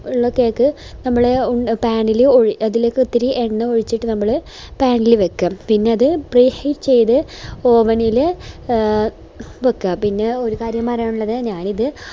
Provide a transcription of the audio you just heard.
cake നമ്മള് pan ല് അതിലേക്ക് ഒത്തിരി എണ്ണ ഒഴിച്ചിട്ട് നമ്മള് pan ല് വെക്ക പിന്നെ അത് ചെയ്ത oven ല് എ വെക്ക